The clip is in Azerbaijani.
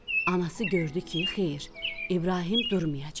Anası gördü ki, xeyr, İbrahim durmayacaq.